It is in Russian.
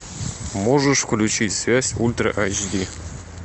можешь включить связь ультра айч ди